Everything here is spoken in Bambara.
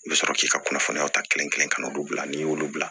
I bɛ sɔrɔ k'i ka kunnafoniyaw ta kelen kelen ka n'olu bila n'i y'olu bila